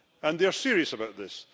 They are serious about this.